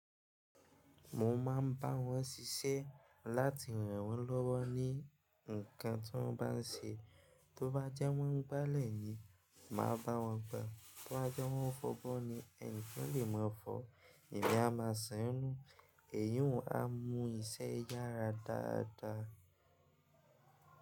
Mo máa ń bá wọn ṣíṣe láti ràn wọ́n lọ́wọ́ ní ǹkan tó bá ń ṣe. Tó bá jẹ́ wọ́n ń gbálẹ̀ yìí, màá bá wọn gbá. Tó bá jẹ́ wọ́n ń fo abo ni enikan lè máa fọ̀, èmi a máa ṣàn nú. Èyí a mú iṣẹ́ yára dáadáa.